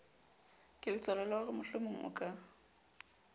keletswalo la horemohlomong o ka